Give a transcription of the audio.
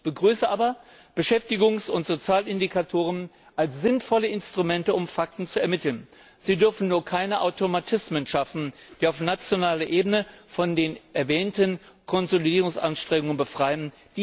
Ich begrüße aber Beschäftigungs und Sozialindikatoren als sinnvolle Instrumente, um Fakten zu ermitteln. Sie dürfen nur keine Automatismen schaffen, die auf nationaler Ebene von den erwähnten Konsolidierungsanstrengungen befreien.